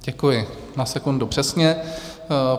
Děkuji, na sekundu přesně.